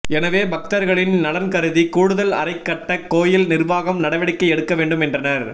எனவே பக்தா்களின் நலன்கருதி கூடுதல் அறை கட்ட கோயில் நிா்வாகம் நடவடிக்கை எடுக்க வேண்டும் என்றனா்